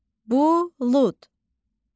Bulud, bulud.